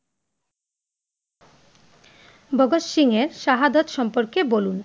ভাগত সিংয়ের শাহাদাত সম্পর্কে বলুন?